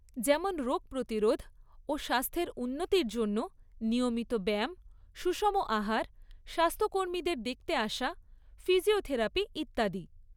যেমন রোগ প্রতিরোধ ও স্বাস্থ্যের উন্নতির জন্য নিয়মিত ব্যায়াম, সুষম আহার, স্বাস্থ্যকর্মীদের দেখতে আসা, ফিজিওথেরাপি, ইত্যাদি।